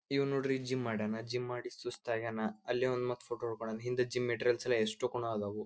ಇವನ್ ನೋಡ್ರಿ ಜಿಮ್ ಮಾಡ್ಯಾನ ಜಿಮ್ ಮಾಡಿ ಸುಸ್ತ್ ಆಗ್ಯಾನ ಅಲ್ಲೇ ಫೋಟೋ ಹೊಡ್ಕೊಂಡ್ ಹಿಂದೆ ಜಿಮ್ ಮೆಟೀರಿಯಲ್ಸ್ ಎಸ್ಟುಕೂನು ಅದವು.